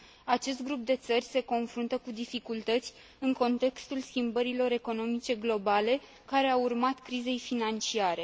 Acest grup de țări se confruntă cu dificultăți în contextul schimbărilor economice globale care au urmat crizei financiare.